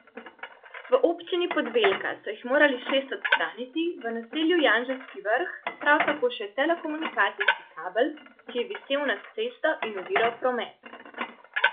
V občini Podvelka so jih morali šest odstraniti v naselju Janževski vrh, prav tako še telekomunikacijski kabel, ki je visel nad cesto in oviral promet.